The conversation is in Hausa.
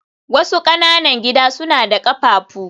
wasu ƙananan gida suna da ƙafafu